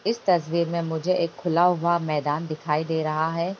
इस तस्वीर में मुझे एक खुला हुआ मैदान दिखाई दे रहा है।